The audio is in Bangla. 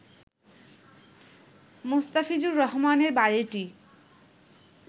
মোস্তাফিজুর রহমানের বাড়িটি